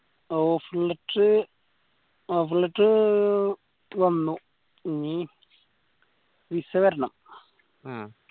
offer letter offer letter വന്നു ഇനി visa വരണം